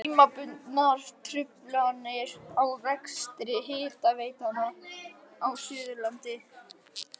Tímabundnar truflanir á rekstri hitaveitna á Suðurlandi.